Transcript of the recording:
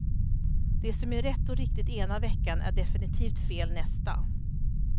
Det som är rätt och riktigt ena veckan är definitivt fel nästa.